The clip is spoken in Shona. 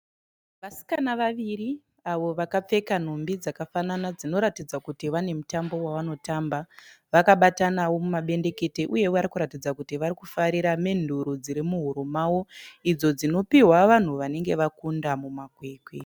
Vasikana vaviri avo vakapfeka nhumbi dzakafanana dzinoratidza kuti vane mutambo wavanotamba. Vakabatanawo mumabendekete uye varikuratidza kuti varikufarira menduru dziri muhuro mavo idzo dzinopihwa vanhu vanenge vakunda mumakwikwi.